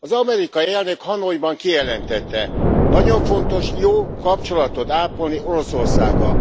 Az amerikai elnök Hanoiban kijelentette nagyon fontos jó kapcsolatot ápolni Oroszországgal.